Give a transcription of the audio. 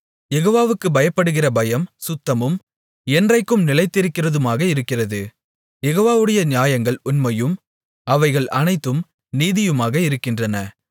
யெகோவாவுக்குப் பயப்படுகிற பயம் சுத்தமும் என்றைக்கும் நிலைக்கிறதுமாக இருக்கிறது யெகோவாவுடைய நியாயங்கள் உண்மையும் அவைகள் அனைத்தும் நீதியுமாக இருக்கின்றன